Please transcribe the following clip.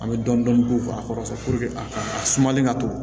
An bɛ dɔɔnin dɔɔnin k'u kɔrɔ a ka a sumalen ka to